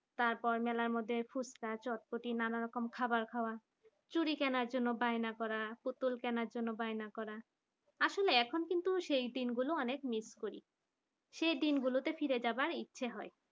তারপর মেলার মধ্যে ফুচকা চটপটি নানা রকম খাবার খাওয়া চুরি কেনার জন্য বাইরে করা পুতুল কেনার জন্য বায়না করা আসলে এখন কিন্তু সেই দিনগুলি অনেক, miss করি সেই দিনগুলোতে ফিরে যাওয়ার ইচ্ছা হয়।